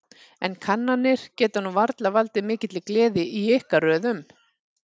En kannanir geta nú varla valdið mikilli gleði í ykkar röðum?